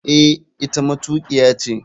Eh, ita matukiya ce.